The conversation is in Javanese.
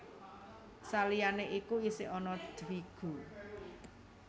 Saliyané iku isih ana Dvigu